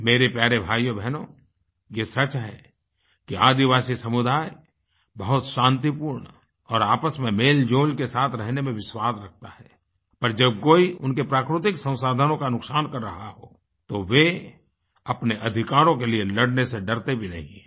मेरे प्यारे भाइयोबहनो ये सच है कि आदिवासी समुदाय बहुत शांतिपूर्ण और आपस में मेलजोल के साथ रहने में विश्वास रखता है पर जब कोई उनके प्राकृतिक संसाधनों का नुकसान कर रहा हो तो वे अपने अधिकारों के लिए लड़ने से डरते भी नहीं हैं